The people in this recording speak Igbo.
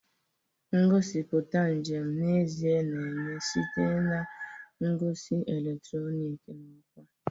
Ngosipụta njem n'ezie na-enye site na ngosi eletrọnịkị na ọkwa.